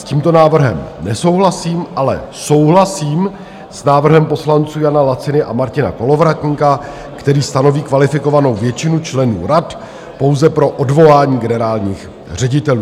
S tímto návrhem nesouhlasím, ale souhlasím s návrhem poslanců Jana Laciny a Martina Kolovratníka, který stanoví kvalifikovanou většinu členů rad pouze pro odvolání generálních ředitelů.